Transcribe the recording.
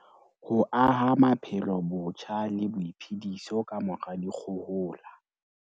Ho aha maphelo botjha le boiphediso kamora dikgohola